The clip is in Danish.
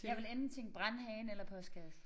Jeg ville enten tænke brandhane eller postkasse